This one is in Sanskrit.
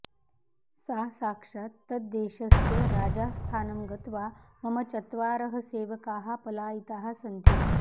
सा साक्षात् तद्देशस्य राजास्थानं गत्वा मम चत्वारः सेवकाः पलायिताः सन्ति